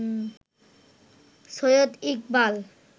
Syed Iqbal